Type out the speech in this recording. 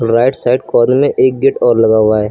Right side corner में एक gate और लगा हुआ है।